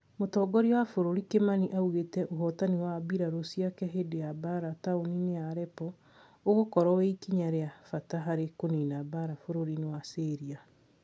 Mũtongoria wa bũrũri Kimani nĩaugĩte ũhotani wa mbirarũ ciake hindi ya mbara taũni-inĩ ya Allepo ũgũkorwo wĩ ikinya rĩa bata harĩ kũnina mbara bũrũri-inĩ wa Syria